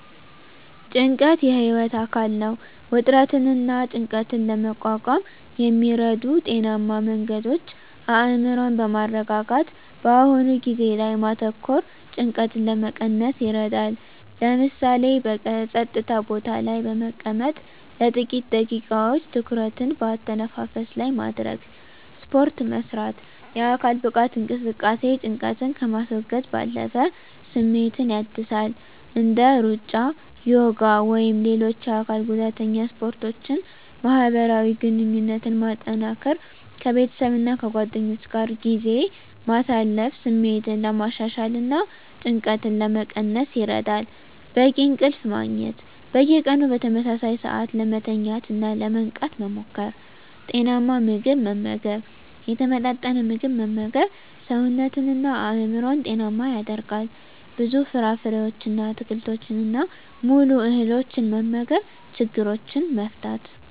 ጭንቀት የህይወት አካል ነው። ውጥረትንና ጭንቀትን ለመቋቋም የሚረዱ ጤናማ መንገዶች አእምሮን በማረጋጋት በአሁኑ ጊዜ ላይ ማተኮር ጭንቀትን ለመቀነስ ይረዳል። ለምሳሌ፣ በጸጥታ ቦታ ላይ በመቀመጥ ለጥቂት ደቂቃዎች ትኩረትን በአተነፋፈስ ላይ ማድረግ። ስፖርት መስራት: የአካል ብቃት እንቅስቃሴ ጭንቀትን ከማስወገድ ባለፈ ስሜትን ያድሳል። እንደ ሩጫ፣ ዮጋ ወይም ሌሎች የአካል ጉዳተኛ ስፖርቶችን ማህበራዊ ግንኙነትን ማጠናከር ከቤተሰብና ከጓደኞች ጋር ጊዜ ማሳለፍ ስሜትን ለማሻሻልና ጭንቀትን ለመቀነስ ይረዳል። በቂ እንቅልፍ ማግኘት። በየቀኑ በተመሳሳይ ሰዓት ለመተኛትና ለመንቃት መሞከር። ጤናማ ምግብ መመገብ የተመጣጠነ ምግብ መመገብ ሰውነትንና አእምሮን ጤናማ ያደርጋል። ብዙ ፍራፍሬዎችን፣ አትክልቶችንና ሙሉ እህሎችን መመገብ። ችግሮችን መፍታት።